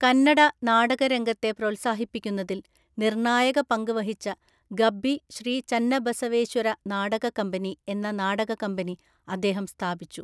കന്നഡ നാടകരംഗത്തെ പ്രോത്സാഹിപ്പിക്കുന്നതിൽ നിർണായക പങ്ക് വഹിച്ച ഗബ്ബി ശ്രീ ചന്നബസവേശ്വര നാടക കമ്പനി എന്ന നാടക കമ്പനി അദ്ദേഹം സ്ഥാപിച്ചു.